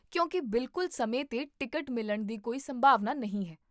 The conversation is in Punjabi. ਕਿਉਂਕਿ ਬਿਲਕੁਲ ਸਮੇਂ 'ਤੇ ਟਿਕਟ ਮਿਲਣ ਦੀ ਕੋਈ ਸੰਭਾਵਨਾ ਨਹੀਂ ਹੈ